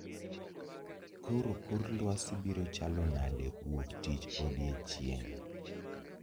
Koro kor lwasi biro chalo nade wuok tich odiechieng'